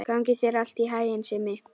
Gangi þér allt í haginn, Simmi.